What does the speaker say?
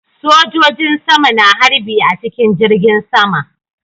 Sojojin sama na harbi a cikin jirgin sama